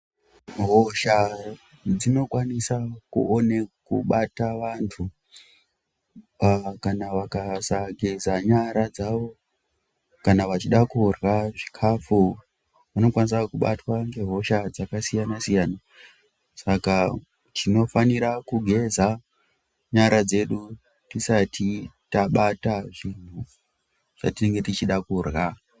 Hosha dzino kwanisa kubata vantu kana vakasageza nyara dzavo kana vachida kurya zvikafu vanokwanisa kubatwa nge hosha dzakasiyana siyana saka tinofanira kugeza nyara dzedu tisati tabata zvatinenge tichida kurya.